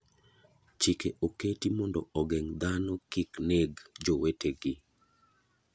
Chike oketi mondo ogeng' dhano gik neg jowete gi.